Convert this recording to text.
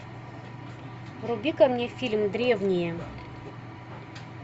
вруби ка мне фильм древние